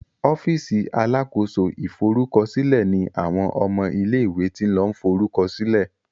ọ́fíìsì alákóso ìforúkọsílẹ ní àwọn ọmọ ilé ìwé tin lo forukọsilẹ